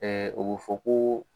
Ɛɛ o be fɔ ko